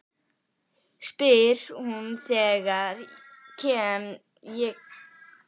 spyr hún þegar ég kem til þeirra Helga í forstofunni.